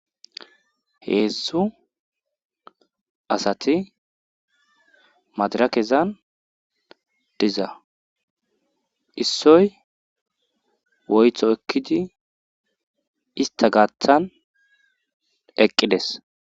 Heedzdzu asati madarakezan diza issoy woytho ekkidi ista gaaththan eqqides